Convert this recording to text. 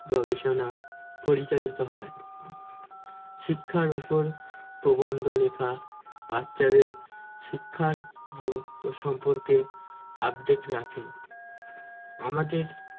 গবেষণা পরিচালিত হয় শিক্ষার উপর প্রবন্ধলেখা বাচ্চাদের শিক্ষার গুরুত্ব সম্পর্কে update রাখে আমাদের